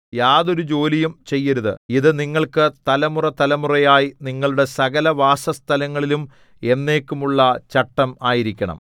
യാതൊരു ജോലിയും ചെയ്യരുത് ഇതു നിങ്ങൾക്ക് തലമുറതലമുറയായി നിങ്ങളുടെ സകലവാസസ്ഥലങ്ങളിലും എന്നേക്കുമുള്ള ചട്ടം ആയിരിക്കണം